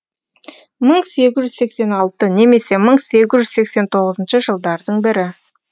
мың сегіз жүз сексен алты немесе мың сегіз жүз сексен тоғызыншы жылдардың бірі